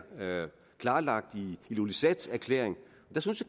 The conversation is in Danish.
klarlagt i ilulissat erklæringen